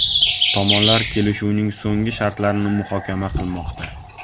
Tomonlar kelishuvning so‘nggi shartlarini muhokama qilmoqda.